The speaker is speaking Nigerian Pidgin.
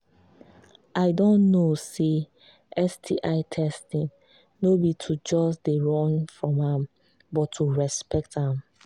i don know say sti testing no be to just they run from am but to respect am